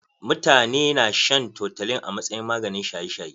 Mutane na shan toutolin a masayin maganin shaye shaye.